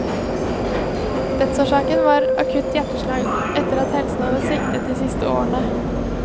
Dødsårsaken var akutt hjerteslag, etter at helsen hadde sviktet de siste årene.